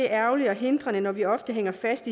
er ærgerligt og hindrende når vi ofte hænger fast